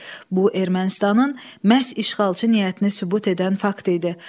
Bu Ermənistanın məhz işğalçı niyyətini sübut edən fakt idi.